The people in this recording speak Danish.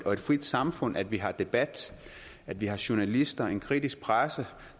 og et frit samfund at vi har debat at vi har journalister og en kritisk presse